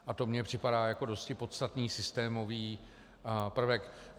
A to mně připadá jako dosti podstatný systémový prvek.